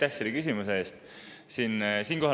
Aitäh selle küsimuse eest!